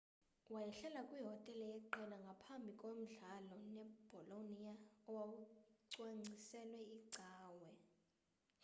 wayehlala kwihotele yeqela ngaphambi komdlalo nebolonia owawucwangciselwe icawe